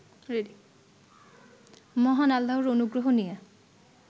মহান আল্লাহর অনুগ্রহ নিয়ে